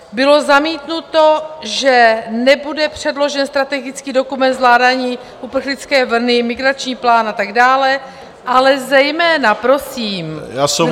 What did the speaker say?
Bylo zamítnuto, že nebude předložen strategický dokument zvládání uprchlické vlny Migrační plán a tak dále, ale zejména prosím bylo zamítnuto...